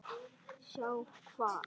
Sjá hvað?